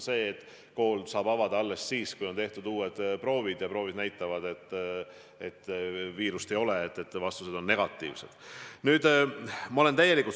See on, et kooli saab avada alles siis, kui on tehtud uued proovid ja need näitavad, et viirust ei ole, vastused on negatiivsed.